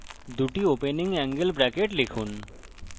দুটি opening angle brackets লিখুন